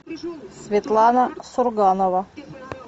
светлана сурганова